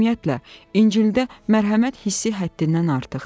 Ümumiyyətlə, İncildə mərhəmət hissi həddindən artıqdır.